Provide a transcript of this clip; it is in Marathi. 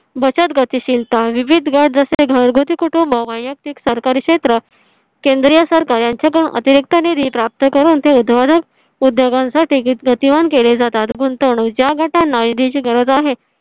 बचत, गतिशीलता, विविध गट जसे घरगुती कुटुंब, वैयक्तिक सरकारी क्षेत्र, केंद्रीय सरकार यांच्या अतिरिक्त निधी प्राप्त करून ते उद्योजक उद्योगांसाठी गतिवान केले जातात गुंतवणूक ज्या गटांना निधीची गरज आहे